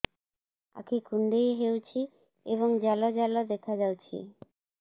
ଆଖି କୁଣ୍ଡେଇ ହେଉଛି ଏବଂ ଜାଲ ଜାଲ ଦେଖାଯାଉଛି